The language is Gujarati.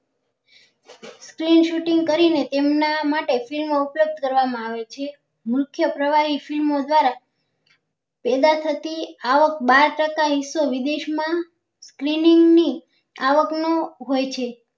Screen shooting કરી ને તેમના માટે film નો ઉપયોગ કરવા માં આવે છે મુખ્ય પ્રવાહી film દ્વારા પેદા થતી આવક બાર ટકા એક તો વિદેશ માં